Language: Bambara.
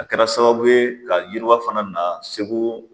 A kɛra sababuye ka yiwa fana na segu.